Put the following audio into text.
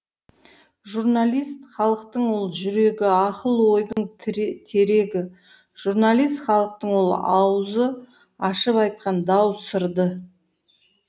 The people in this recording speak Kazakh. жұрналист халықтың ол жүрегі ақыл ойдың терегі жұрналист халықтың ол ауызы ашып айтқан дау сырды